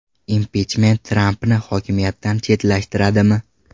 Impichment Trampni hokimiyatdan chetlashtiradimi?